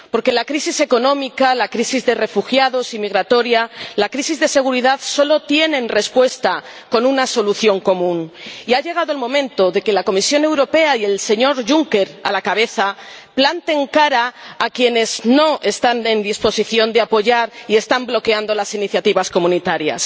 Porque la crisis económica, la crisis de refugiados y migratoria, la crisis de seguridad solo tienen respuesta con una solución común, y ha llegado el momento de que la Comisión Europea con el señor Juncker a la cabeza planten cara a quienes no están en disposición de apoyar y están bloqueando las iniciativas comunitarias.